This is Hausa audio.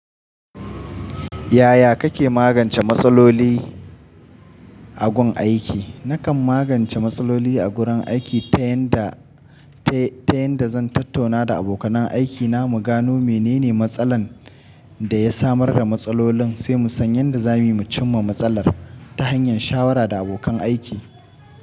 Yaya kake magance matsaloli a gun aiki? Nakan magance matsaloli a gurin aiki ta yanda, ta, ta yanda zan tattauna da abokan aikina mu gano menene matsalar da ya samar da matsalolin, sai mu san yanda zamuyi mu cimma matsalar ta hanyar shawara da abokan aiki.